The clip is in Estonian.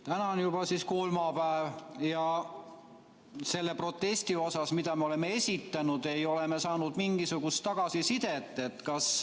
Täna on juba kolmapäev ja selle protesti kohta, mille me oleme esitanud, ei ole me saanud mingisugust tagasisidet.